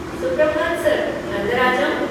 सुप्रभात सर, अंदर आ जाऊँ?